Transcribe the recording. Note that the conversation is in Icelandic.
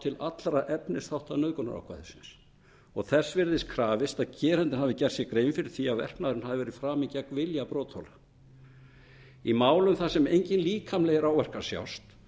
til allra efnisþátta nauðgunarákvæðisins og þess virðist krafist að gerandinn hafi gert sér grein fyrir því að verknaðurinn hafi verið framinn gegn vilja brotaþola í málum þar sem engir líkamlegir áverkar sjást